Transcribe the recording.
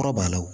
Kɔrɔ b'a la